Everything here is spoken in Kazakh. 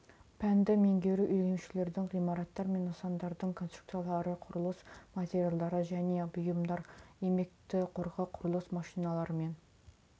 пәнді меңгеру үйренушілердің ғимараттар мен нысандардың конструкциялары құрылыс материалдары және бұйымдар еңбекті қорғау құрылыс машиналары мен